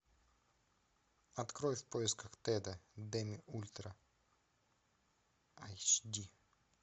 открой в поисках теда демми ультра эйч ди